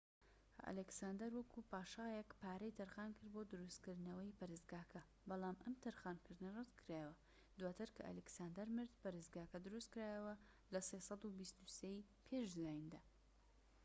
ئەلێکساندەر، وەکو پاشایەك پارەی تەرخانکرد بۆ دروستکردنەوەی پەرستگاکە، بەڵام ئەم تەرخانکردنە ڕەت کرایەوە. دواتر کە ئەلیکساندەر مرد، پەرستگاکە دروستکرایەوە لە ٣٢٣ ی پێش زایندا